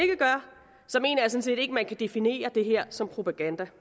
man kan definere det her som propaganda